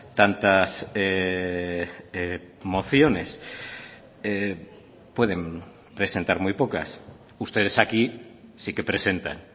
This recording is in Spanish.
tantas mociones pueden presentar muy pocas ustedes aquí sí que presentan